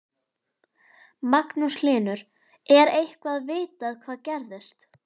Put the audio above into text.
Magnús Hlynur: Er eitthvað vitað hvað gerðist?